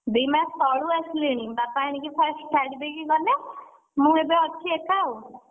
ଦି ମାସ ତଳୁ ଆସିଲିଣି ବାପା ଆଣି first ଛାଡିଦେଇ ଗଲେ, ମୁଁ ଏବେ ଅଛି ଏକା ଆଉ